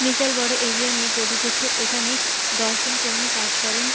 বিশাল বড়ো এরিয়া নিয়ে কোট উঠেছে এখানে দশ জন কর্মী কাজ করেন।